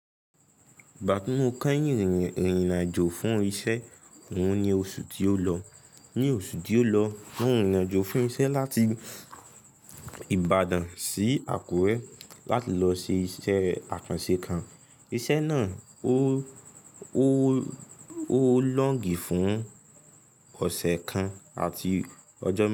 Batu mo kẹ́yìn ìrìn-àjò fún iṣẹ́ òun ní oṣù tí ó lọ. Ní oṣù tí ó lọ, wọ́n rìn-àjò fún iṣẹ́ láti Ìbàdàn sí Àkúrẹ́ láti lọ ṣe iṣẹ́ àkànṣe kan. Iṣẹ́ náà ó ó ó lóǹgì fún ọ̀sẹ̀ kan àti ọjọ́ mẹ́ta.